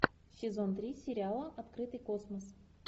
сезон три сериала открытый космос